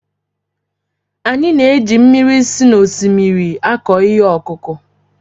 Anyị na-eji mmiri si n'osimiri akọ ihe ọkụkụ